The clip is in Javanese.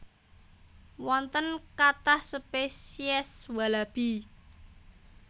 Wonten kathah speciés walabi